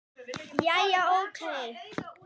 Jæja, ókei.